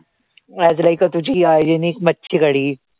आज like a तुझी hygienic मच्छी कढी